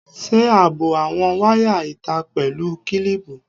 Ṣe ààbò àwọn wáyà ìta pẹ̀lú kílíìpù.